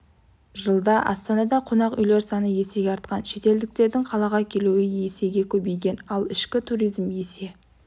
жылда астанада қонақ үйлер саны есеге артқан шетелдіктердің қалаға келуі есеге көбейген ал ішкі туризм есе